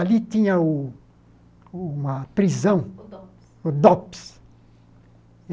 Ali tinha o uma prisão, o Dops. O Dops